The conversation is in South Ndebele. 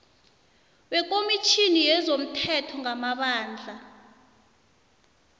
wekomitjhini yezomthetho ngamabandla